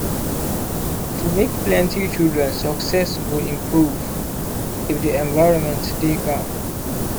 to make plenty children success go improve if the environment dey calm